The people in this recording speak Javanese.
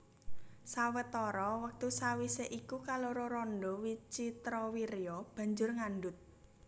Sawetara wektu sawisé iku kaloro randha Wicitrawirya banjur ngandhut